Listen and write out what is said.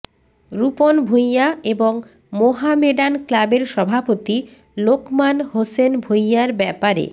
রূপন ভূঁইয়া এবং মোহামেডান ক্লাবের সভাপতি লোকমান হোসেন ভূঁইয়ার ব্যাপারে